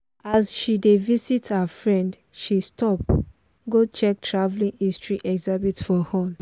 as she dey visit her friend she stop go check traveling history exhibit for hall.